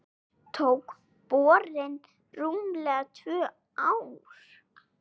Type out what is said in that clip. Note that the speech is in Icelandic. Tók borunin rúmlega tvö ár.